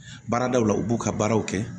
Baaradaw la u b'u ka baaraw kɛ